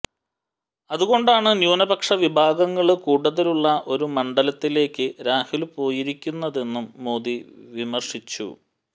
അതുകൊണ്ടാണ് ന്യൂനപക്ഷ വിഭാഗങ്ങള് കൂടുതലുള്ള ഒരു മണ്ഡലത്തിലേക്ക് രാഹുല് പോയിരിക്കുന്നതെന്നും മോദി വിമര്ശിച്ചു